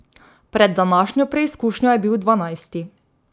Pred današnjo preizkušnjo je bil dvanajsti.